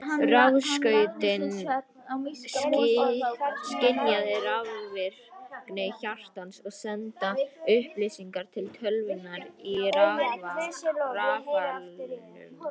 Rafskautin skynja rafvirkni hjartans og senda upplýsingar til tölvunnar í rafalnum.